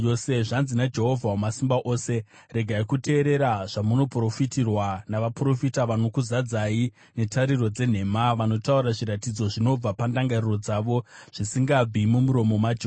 Zvanzi naJehovha Wamasimba Ose: “Regai kuteerera zvamunoprofitirwa navaprofita; vanokuzadzai netariro dzenhema. Vanotaura zviratidzo zvinobva pandangariro dzavo, zvisingabvi mumuromo maJehovha.